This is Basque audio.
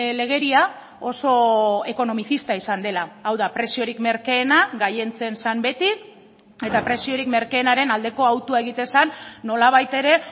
legedia oso ekonomizista izan dela hau da preziorik merkeena gailentzen zen beti eta preziorik merkeenaren aldeko hautua egiten zen nolabait ere